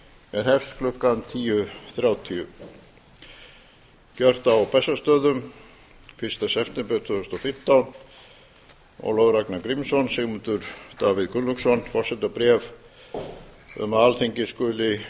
er hefst klukkan tíu þrjátíu gjört á bessastöðum fyrsta september tvö þúsund og fimmtán ólafur ragnar grímsson sigmundur davíð gunnlaugsson forsetabréf um að alþingi skuli